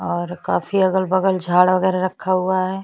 और काफी अगल-बगल झाड़ वगैरह रखा हुआ है।